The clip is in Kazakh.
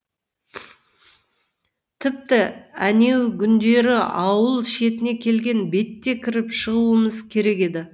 тіпті әнеугүндері ауыл шетіне келген бетте кіріп шығуымыз керек еді